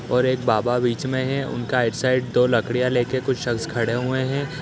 और एक बाबा बीच में हैं। उनका साइड दो लकड़ियां लेके कुछ शक्श खड़े हुए है।